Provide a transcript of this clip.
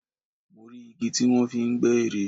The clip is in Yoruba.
Mo rí igi tí wọ́n fi ń gbẹ́ ère